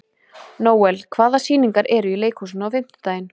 Nóel, hvaða sýningar eru í leikhúsinu á fimmtudaginn?